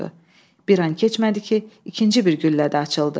Bir an keçmədi ki, ikinci bir güllə də açıldı.